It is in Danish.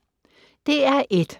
DR1